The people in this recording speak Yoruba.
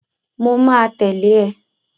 Mo ma tẹ̀lę ë.